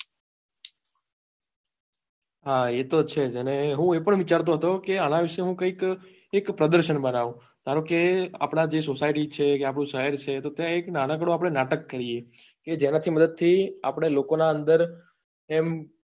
હા એ તો છે જ અને હું એ પણ વિચારતો હતો કે આના વિશે હું કઈક એક પ્રદર્શન બનાવું ધારોકે આપડી જે society છે કે શહેર છે કે ત્યાં એક નાનકડું આપડે નાટક કરીએ કે જેનાથી મદદ થી આપડે લોકો નાં અંદર એમ